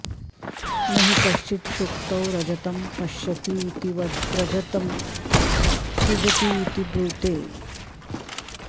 न हि कश्चित् शुक्तौ रजतं पश्यतीतिवद्रजतं सृजतीति ब्रूते